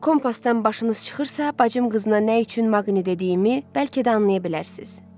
Kompasdan başınız çıxırsa, bacım qızına nə üçün Maqni dediyimi bəlkə də anlaya bilərsiz.